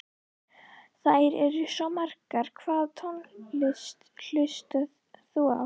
Þær eru svo margar Hvaða tónlist hlustar þú á?